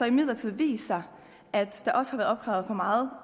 imidlertid vist sig at der også er blevet opkrævet for meget